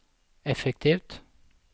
effektivt